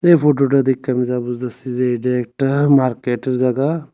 এই ফোটোটা দেইখ্যা আমি যা বুঝতাসি যে এটা একটা মার্কেটের জাগা ।